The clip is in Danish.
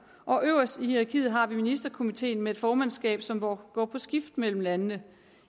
og øverst i hierarkiet har vi ministerkomiteen med formandskab som går på skift mellem landene